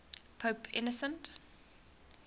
pope innocent